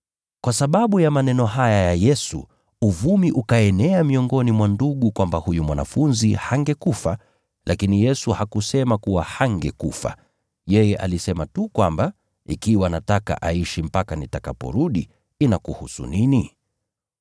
Kwa sababu ya maneno haya ya Yesu, uvumi ukaenea miongoni mwa ndugu kwamba huyu mwanafunzi hangekufa. Lakini Yesu hakusema kuwa hangekufa. Yeye alisema tu kwamba, “Ikiwa nataka aishi mpaka nitakaporudi, inakuhusu nini?”